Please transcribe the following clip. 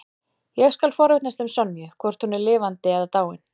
Ég skal forvitnast um Sonju, hvort hún er lifandi eða dáin.